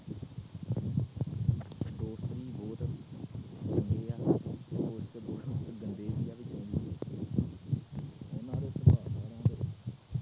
ਤੇ ਉਨ੍ਹਾਂ ਦੇ